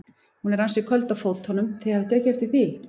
Hún er ansi köld á fótunum, þið hafið tekið eftir því?